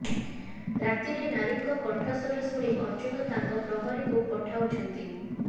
ରାତିରେ ନାରୀଙ୍କ କଣ୍ଠ ସ୍ବର ଶୁଣି ଅର୍ଜୁନ ତାଙ୍କ ପ୍ରହରୀଙ୍କୁ ପଠାଉଛନ୍ତି